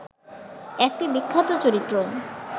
একটি বিখ্যাত চরিত্র